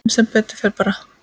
En sem betur fer bar